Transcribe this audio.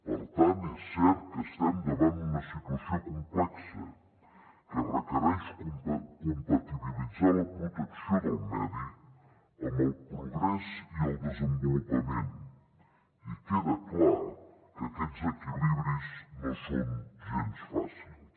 per tant és cert que estem davant una situació complexa que requereix compatibilitzar la protecció del medi amb el progrés i el desenvolupament i queda clar que aquests equilibris no són gens fàcils